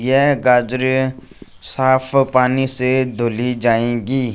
यह गाजरे साफ पानी से धुली जाएंगी।